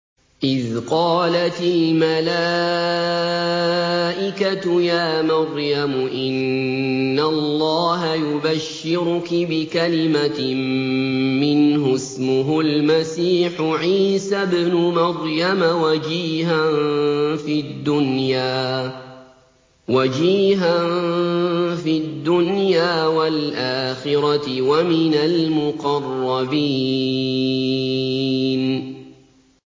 إِذْ قَالَتِ الْمَلَائِكَةُ يَا مَرْيَمُ إِنَّ اللَّهَ يُبَشِّرُكِ بِكَلِمَةٍ مِّنْهُ اسْمُهُ الْمَسِيحُ عِيسَى ابْنُ مَرْيَمَ وَجِيهًا فِي الدُّنْيَا وَالْآخِرَةِ وَمِنَ الْمُقَرَّبِينَ